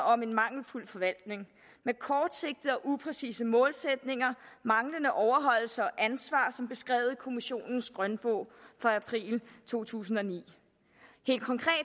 om en mangelfuld forvaltning med kortsigtede og upræcise målsætninger manglende overholdelse og ansvar som beskrevet i kommissionens grønbog fra april to tusind og ni helt konkret